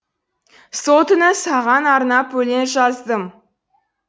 сол түні саған арнап өлең жаздым